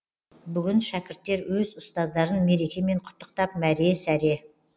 бүгін шәкірттер өз ұстаздарын мерекемен құттықтап мәре сәре